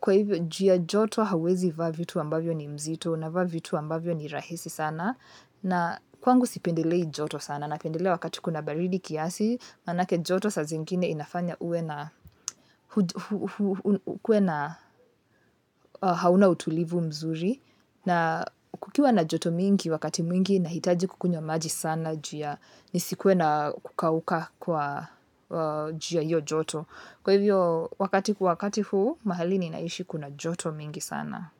kwa hivyo juu ya joto hauwezi vaa vitu ambavyo ni mzito, una vaa vitu ambavyo ni rahisi sana, na kwangu sipendelei joto sana, napendelea wakati kuna baridi kiasi, manake joto sa zingine inafanya ue hauna utulivu mzuri na kukiwa na joto mingi wakati mwingi nahitaji kukunywa maji sana juu ya nisikue na kukauka kwa juu ya hiyo joto. Kwa hivyo wakati ku wakati huu mahali ni naishi kuna joto mingi sana.